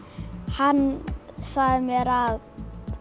hann sagði mér að